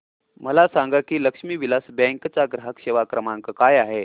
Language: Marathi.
मला सांगा की लक्ष्मी विलास बँक चा ग्राहक सेवा क्रमांक काय आहे